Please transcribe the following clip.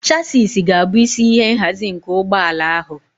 Chassisi ga-abụ isi ihe nhazi nke ụgbọ ala ahụ.